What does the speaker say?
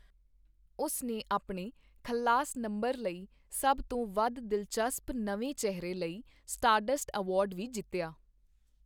ਉਸ ਨੇ ਆਪਣੇ 'ਖਲਾਸ' ਨੰਬਰ ਲਈ ਸਭ ਤੋਂ ਵੱਧ ਦਿਲਚਸਪ ਨਵੇਂ ਚਿਹਰੇ ਲਈ ਸਟਾਰਡਸਟ ਅਵਾਰਡ ਵੀ ਜਿੱਤਿਆ।